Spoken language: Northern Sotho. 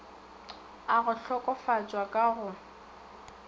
a go hlokofatšwa ka go